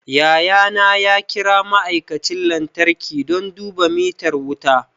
Yayana ya kira ma'aikacin lantarki don duba mitar wuta